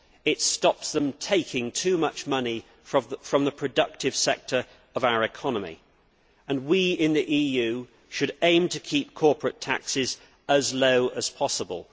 It stops them taking too much money from the productive sector of our economy, and we in the EU should aim to keep corporate taxes as low as possible.